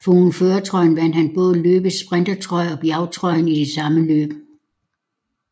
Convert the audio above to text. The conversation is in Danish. Foruden førertrøjen vandt han både løbets sprintertrøje og bjergtrøjen i det samme løb